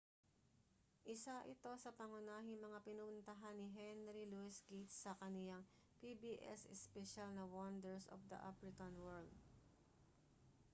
isa ito sa pangunahing mga pinuntahan ni henry louis gates sa kaniyang pbs espesyal na wonders of the african world